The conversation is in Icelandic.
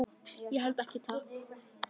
Ég held ekki, takk.